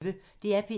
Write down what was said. DR P1